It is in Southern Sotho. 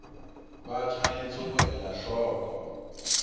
ba tshwanetse ho ela hloko